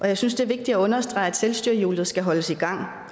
jeg synes det er vigtigt at understrege at selvstyrehjulet skal holdes i gang